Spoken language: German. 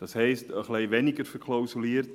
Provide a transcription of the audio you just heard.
Das heisst etwas weniger verklausuliert: